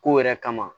Kow yɛrɛ kama